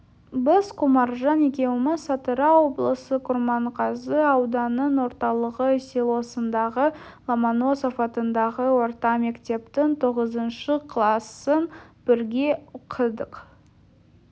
біз құмаржан екеуміз атырау облысы құрманғазы ауданының орталығы селосындағы ломаносов атындағы орта мектептің тоғызыншы класын бірге оқыдық